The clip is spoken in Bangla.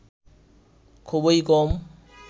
খুবই কম